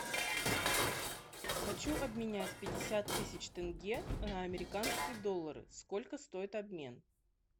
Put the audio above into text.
хочу обменять пятьдесят тысяч тенге на американские доллары сколько стоит обмен